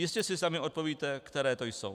Jistě si sami odpovíte, které to jsou.